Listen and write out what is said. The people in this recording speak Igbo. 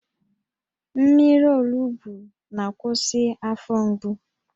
Mmiri olugbu na-akwụsị afọ mgbu